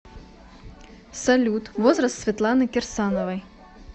салют возраст светланы кирсановой